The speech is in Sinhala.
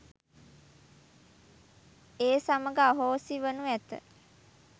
ඒ සමඟ අහෝසි වනු ඇත.